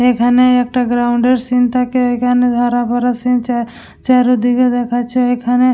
এখানে একটা গ্রাউন্ড -এর সিন থাকে এখানে হারাবারা সিন চা চারদিকে দেখাচ্ছে এখানে--